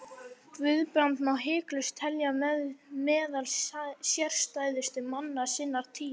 Guðbrand má hiklaust telja meðal sérstæðustu manna sinnar tíðar.